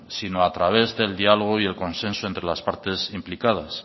sino a través de diálogo y el consenso entre las partes implicadas